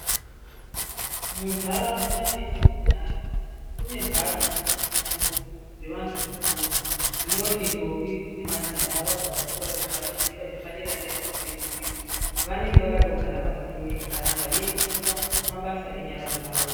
Mundaraunda metinogara mune ndau dzekufundira dzevantu vakuru dzinoti ndombi nemajaha vabva pazvikora zvepashi voenda zvepadera dera zvekupedzisira vanenge vakagara pazvituri zvakanaka veidzidziswa mabasa enyara dzawo.